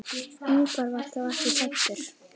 Ingvar var þá ekki fæddur.